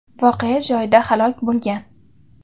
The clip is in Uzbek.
voqea joyida halok bo‘lgan.